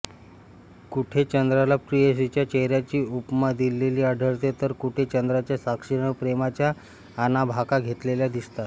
कुठे चंद्राला प्रेयसीच्या चेहऱ्याची उपमा दिलेली आढळते तर कुठे चंद्राच्या साक्षीने प्रेमाच्या आणाभाका घेतलेल्या दिसतात